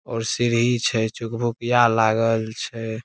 और सीढ़ी छै चुकभुकिया लागल छै।